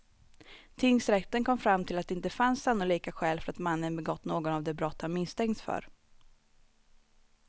Tingsrätten kom fram till att det inte fanns sannolika skäl för att mannen begått något av de brott han misstänkts för.